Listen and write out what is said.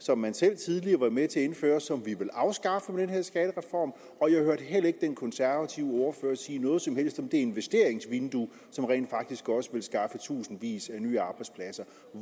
som man selv tidligere var med til at indføre og som vi vil afskaffe med den her skattereform og jeg hørte heller ikke den konservative ordfører sige noget som helst om det investeringsvindue som rent faktisk også vil skaffe tusindvis af nye arbejdspladser